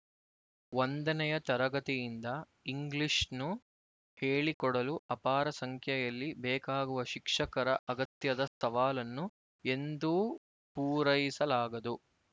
ಒಂದನೆಯ ತರಗತಿಯಿಂದ ಇಂಗ್ಲಿಶ್‌ನ್ನು ಹೇಳಿಕೊಡಲು ಅಪಾರ ಸಂಖ್ಯೆಯಲ್ಲಿ ಬೇಕಾಗುವ ಶಿಕ್ಷಕರ ಅಗತ್ಯದ ಸವಾಲನ್ನು ಎಂದೂ ಪೂರಲೈಸಲಾಗದು